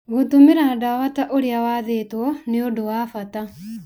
Gũtũmĩra ndawa ta ũrĩa wathĩtwo nĩ ũndũ wa bata.